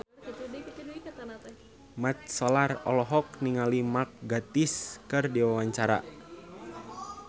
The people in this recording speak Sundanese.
Mat Solar olohok ningali Mark Gatiss keur diwawancara